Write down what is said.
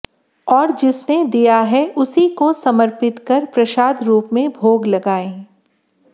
और जिसने दिया है उसी को समर्पित कर प्रसाद रूप में भोग लगाएं